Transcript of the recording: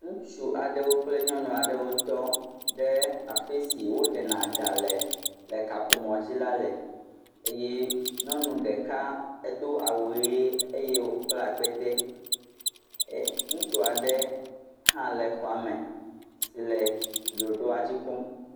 Ŋutsu aɖewo kple nyɔnu aɖewo tɔ ɖe afi si woɖena ga le, le kaƒomɔ̃dzi la le eye nyɔnu ɖeka edo awu ʋee eye wòkpla akpete. E, ŋutsu aɖe hã le xɔa me si le ɖoɖoa dzi kpɔm.